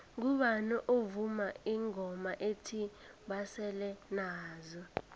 ngubani ovuma ingoma ethi basele nazo